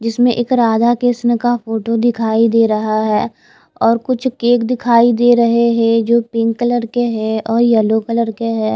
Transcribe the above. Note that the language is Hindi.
जिसमें एक राधा कृष्ण का फोटो दिखाई दे रहा है और कुछ केक दिखाई दे रहे है जो पिंक कलर के है और येलो कलर के है।